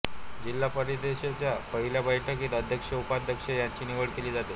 जिल्हा परिषदेच्या पहिल्या बैठकीत अध्यक्ष उपाध्यक्ष यांची निवड केली जाते